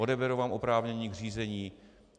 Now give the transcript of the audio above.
Odeberou vám oprávnění k řízení.